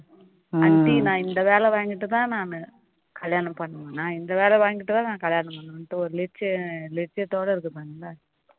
aunty நான் இந்த வேலை வாங்கிட்டு தான் நானு கல்யாணம் பண்ணணும் நான் இந்த வேலை வாங்கிட்டு தான் கல்யாணம் பண்ணணும் ஒரு இலட்சியத்தோடு இருக்குறாங்க